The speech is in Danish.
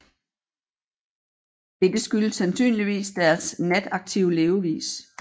Dette skyldes sandsynligvis deres nataktive levevis